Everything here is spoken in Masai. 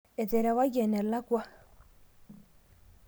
eterewaki enelakwa